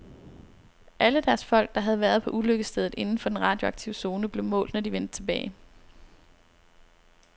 Alle deres folk, der havde været på ulykkesstedet inden for den radioaktive zone, blev målt, når de vendte tilbage.